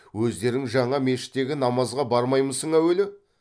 өздерің жаңа мешіттегі намазға бармаймысың әуелі